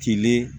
Tilen